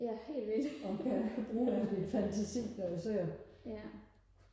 og kan bruge al min fantasi når man ser